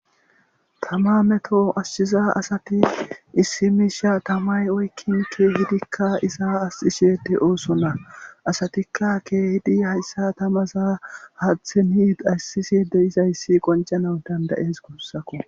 Tama meto ashchiza asati issi miisha tamay oykkinke hidikka iza as ishede ooso na asatikka keehidi hayssa tamaza haathinit ayssiside izayssi qoncana dandayes gussako